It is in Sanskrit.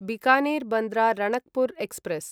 बीकानेर् बन्द्र राणकपुर् एक्स्प्रेस्